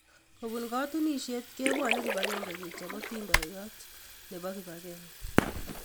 kobun katunisiet, kebwonii kip agenge kechob atindionyoo nebo kip agenge